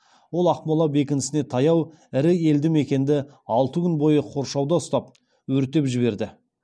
ол ақмола бекінісіне таяу ірі елді мекенді алты күн бойы қоршауда ұстап өртеп жіберді